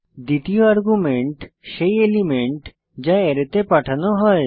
দ্বিতীয় আর্গুমেন্ট সেই এলিমেন্ট যা অ্যারেতে পাঠানো হয়